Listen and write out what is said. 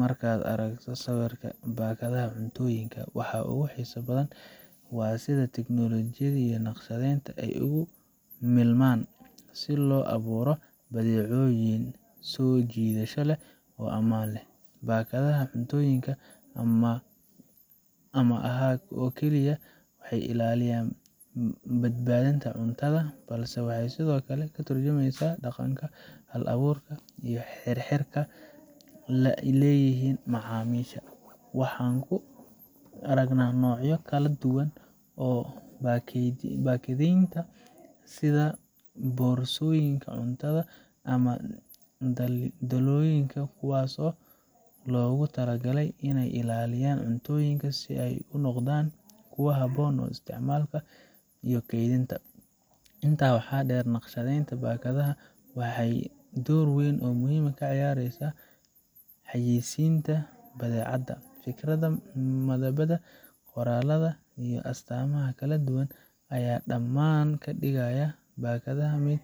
Markad aragta sawirka bakadaha mufoyinka waa sidha bakadah a si ay ugu milman ama ahad oo kaliya ah, wahey ilaliyan ,waxey sidokale firinesa dhaqanka ,iyo xirxirka leyihin macmisha, Waxan kale oo kuaragne sidha borsoyinka cuntada ama daloyinka kuwas oo lagu tala galay iney ilaliyan si ay u noqdan istcimalka iyo keydhinta ,inta waxa dher naqshadenta bakadaha waxey dhor weyn kaciyaresa ,yesinta badacada oo waraqada iyo astamaha kaladuwan ,aya daman kadigaya bakadaha mid